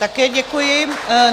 Také děkuji.